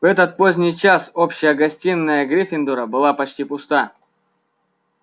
в этот поздний час общая гостиная гриффиндора была почти пуста